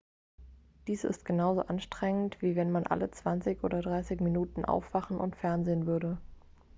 dies ist genauso anstrengend wie wenn man alle zwanzig oder dreißig minuten aufwachen und fernsehen würde